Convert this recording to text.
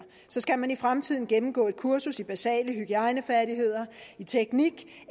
skal man i fremtiden gennemgå et kursus i basale hygiejnefærdigheder teknik